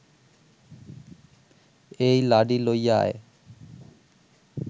এই লাডি লইয়া আয়